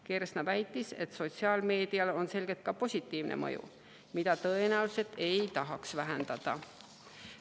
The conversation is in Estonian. Kersna väitis, et sotsiaalmeedial on selgelt ka positiivne mõju, mida tõenäoliselt ei tahaks vähendada.